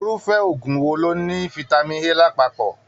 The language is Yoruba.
Irufẹ òògùn wò ló ní fitami A lapapọ?